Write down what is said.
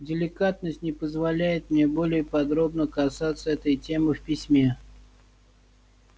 деликатность не позволяет мне более подробно касаться этой темы в письме